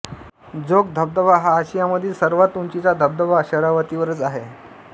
जोग धबधबा हा आशियामधील सर्वात उंचीचा धबधबा शरावतीवरच आहे